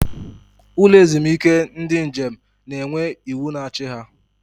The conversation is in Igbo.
Ụlọ ezumike ndị njem na-enwe iwu na-achị ya.